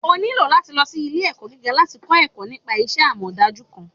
onílò latí lọ sí ile-ẹkọ gígá, latí kọ ẹkọ nípa iṣẹ amọdaju kan.